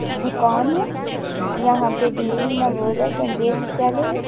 दुकान है। यहा पे डीएवी नवोदय केन्द्रीय विद्यालय है।